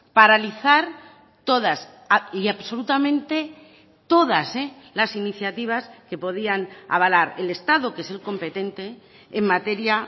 paralizar todas y absolutamente todas las iniciativas que podían avalar el estado que es el competente en materia